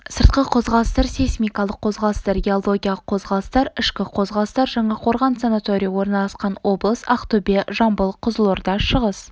сыртқы қозғалыстар сейсмикалық қозғалыстар геологиялық қозғалыстар ішкі қозғалыстар жаңақорған санаторийі орналасқан облыс ақтөбе жамбыл қызылорда шығыс